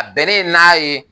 A bɛnnen n'a ye